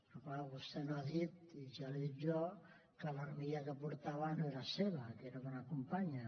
però clar vostè no ha dit i ja li ho dic jo que l’armilla que portava no era seva que era d’una companya